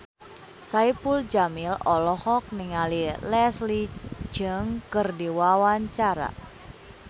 Saipul Jamil olohok ningali Leslie Cheung keur diwawancara